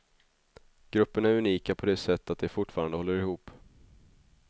Gruppen är unika på det sätt att de fortfarande håller ihop.